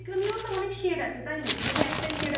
cream ও তো অনেক shade আছে তাই নাকি ? নাকি একটাই